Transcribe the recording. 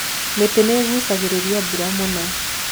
mĩtĩ nĩgucagĩrĩria mbura mũno